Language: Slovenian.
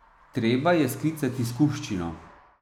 Treba je sklicati skupščino.